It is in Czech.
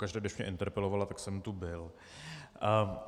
Pokaždé když mě interpelovala, tak jsem tu byl.